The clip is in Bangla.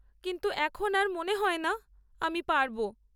কিন্তু এখন আর মনে হয়না আমি পারব।